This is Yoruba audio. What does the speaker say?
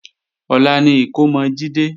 Ọ̀la ni ìkómọ Jídé